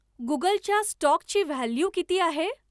गुगलच्या स्टॉकची व्हॅल्यू किती आहे